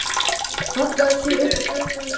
Hallaði sér upp að fötunum sínum.